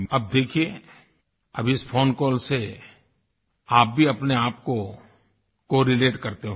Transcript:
अब देखिये अब इस फोन कॉल से आप भी अपने आपको कोरलेट करते होंगे